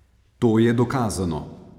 To je dokazano!